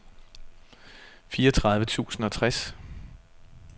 fireogtredive tusind og tres